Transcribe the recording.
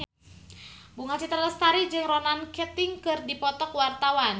Bunga Citra Lestari jeung Ronan Keating keur dipoto ku wartawan